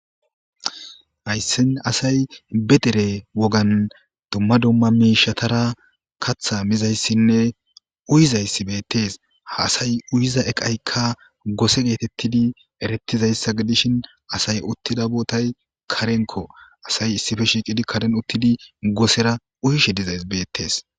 Hayssan asay be dere wogan dumma dumma miishshathara kaththaa mizayssinne uyizayssi beeththees; ha asay uyiza eqaykka gose geetheththidi ereththizayssa gidishin asay uththida boothay karenkkoo; asay issipe shiiqidi karen uththidi gosera uyishe dizay beeththees.